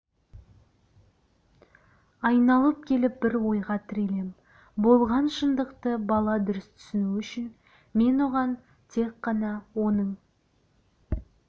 айналып келіп бір ойға тірелем болған шындықты бала дұрыс түсіну үшін мен оған тек қана оның